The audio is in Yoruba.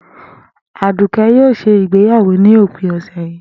Àdùké̩ yóò s̩e ìgbéyàwó ní òpin ò̩sè̩ yìí